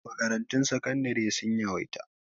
Makarantun sakandari sun yawaita